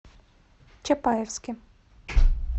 чапаевске